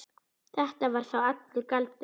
Þetta var þá allur galdur.